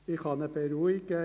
Ich kann ihn beruhigen: